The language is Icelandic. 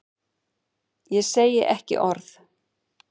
Ég segi ekki orð.